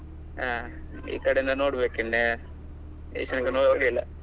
ಹ ಈ ಕಡೆ ಇಂದ ನೋಡ್ಬೇಕು, ಇನ್ನ ಇಷ್ಟರ ತನ್ಕ ನೋಡ್ಲಿಲ್ಲ.